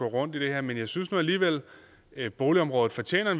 rundt i det her men jeg synes nu alligevel at boligområdet fortjener